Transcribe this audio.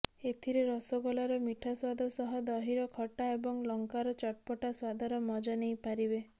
ଏଥିରେ ରସଗୋଲାର ମିଠା ସ୍ୱାଦ ସହ ଦହିର ଖଟା ଏବଂ ଲଙ୍କାର ଚଟ୍ପଟା ସ୍ୱାଦର ମଜା ନେଇପାରିବେ